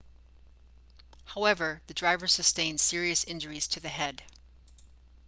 however the driver sustained serious injuries to the head